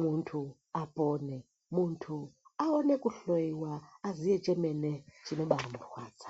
muntu apone, muntu awone kuhloyiwa aziye chemene chinobaamurwadza.